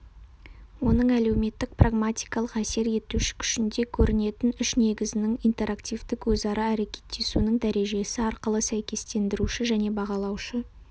оның әлеуметтік-прагматикалық әсер етуші күшінде көрінетін үш негізінің интегративтік өзара әрекеттесуінің дәрежесі арқылы сәйкестендіруші және бағалаушы